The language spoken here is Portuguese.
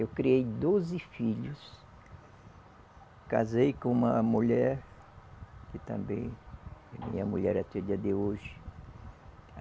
Eu criei doze filhos, casei com uma mulher, que também é minha mulher até o dia de hoje.